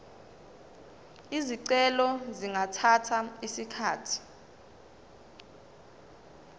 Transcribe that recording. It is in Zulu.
izicelo zingathatha isikhathi